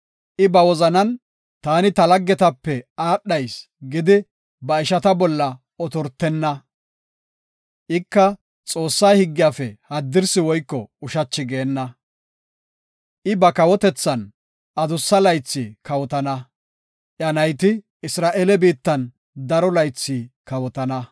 I ba wozanan, “Taani ta laggetape aadhayis” gidi ba ishata bolla otortenna. Ika Xoossaa higgiyafe haddirsi woyko ushachi geenna. I ba kawotethan adussa laythi kawotana; iya nayti Isra7eele biittan daro laythi kawotana.